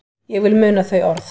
Ég vil muna þau orð.